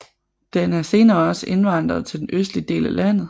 Den er senere også indvandret til den østlige del af landet